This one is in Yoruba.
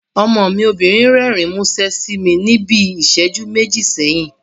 Ọmọ mi obìnrin rẹ́rìn múṣẹ́ sí mi níbi ìsẹ́jú méjì sẹ́yìn